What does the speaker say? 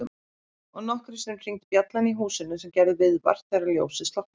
Og nokkrum sinnum hringdi bjallan í húsinu sem gerði viðvart þegar ljósið slokknaði.